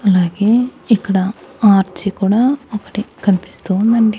అలాగే ఇక్కడ ఆర్చ్ కూడా ఒకటి కనిపిస్తూ ఉందండి.